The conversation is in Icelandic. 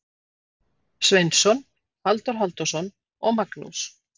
Sveinsson, Halldór Halldórsson og Magnús